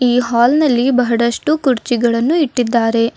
ಈ ಹಾಲ್ ನಲ್ಲಿ ಬಹಳಷ್ಟು ಕುರ್ಚಿಗಳನ್ನು ಇಟ್ಟಿದ್ದಾರೆ.